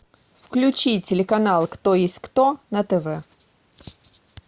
включи телеканал кто есть кто на тв